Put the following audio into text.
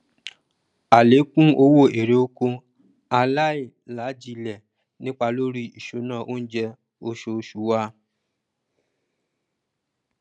àlékún owó erè oko aláìlajílẹ nipa lórí ìṣúná oúnjẹ oṣooṣù wa